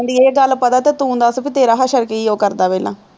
ਜਾਂਦੀ ਇਹ ਗੱਲ ਪਤਾ ਤਾਂ ਤੂੰ ਦੱਸ ਬਈ ਤੇਰਾ ਹਸ਼ਰ ਕੀ ਉਹ ਕਰਦਾ ਪਹਿਲਾਂ